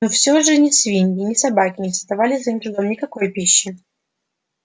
но все же ни свиньи ни собаки не создавали своим трудом никакой пищи